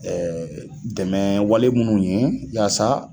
dɛmɛ wale minnu ye yaasa